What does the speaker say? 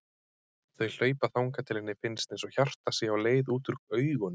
Þau hlaupa þangað til henni finnst einsog hjartað sé á leið út úr augunum.